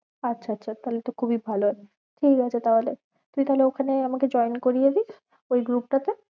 আচ্ছা আচ্ছা তাহলে তো খুবই ভালো ঠিক আছে তাহলে, তুই তাহলে ওখানে আমাকে join করিয়ে দিস ওই group টা তে।